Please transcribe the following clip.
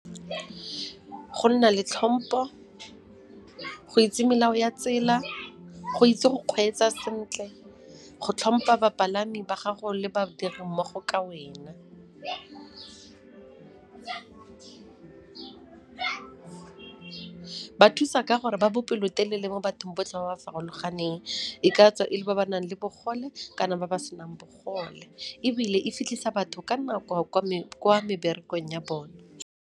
Go nna le tlhompho, go itse melao ya tsela, go itse go kgweetsa sentle, go tlhompa bapalami ba gago le badiri mmogo ka wena. Ba thusa ka gore ba bopelotelele mo bathong botlhe ba ba farologaneng. E ka tswa e le ba ba nang le bogole kana ba ba senang bogole, ebile e fitlhisa batho ka nako kwa meberekong ya bone.